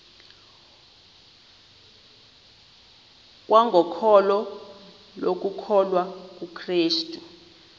kwangokholo lokukholwa kukrestu